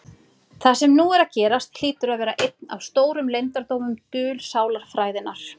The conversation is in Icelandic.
Það sem nú er að gerast hlýtur að vera einn af stórum leyndardómum dulsálarfræðinnar.